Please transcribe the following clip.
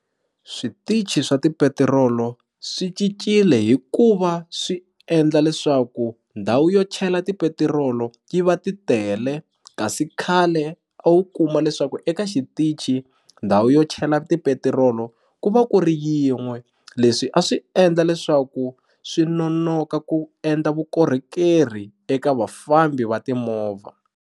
Switichi swa tipetirolo swi cincile hi ku va swi endla leswaku ndhawu yo chela tipetirolo yi va ti tele kasi khale a wu kuma leswaku xitichi ndhawu yo chela tipetirolo ku va ku ri yin'we leswi a swi endla leswaku swi nonoka ku endla vukorhokeri eka vafambi va timovha.